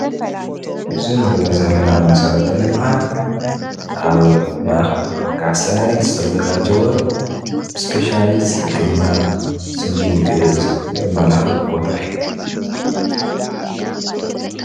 አብዚ እንሪኦ ዘለና መሰረተ ልምዓት አብ ማእከል ዕዳጋ ሰረት ዝተዛጋጀወ እስፔሻሊስት ሕክምና ስኒ ግእዝ ዘማላኽት ቦታ እዩ፡፡